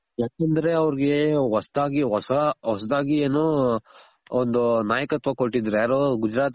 ಯಾಕೆಂದ್ರೆ ಅವರ್ಗೆ ಹೊಸ್ದಾಗ್ ಹೊಸ ಹೊಸ್ದಾಗ್ ಏನು ಒಂದು ನಾಯಕತ್ವ ಕೊಟ್ಟಿದ್ರು ಯಾರು ಗುಜರಾತ್